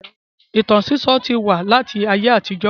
Ìtàn sísọ́ ti wà láti ayé àtijọ́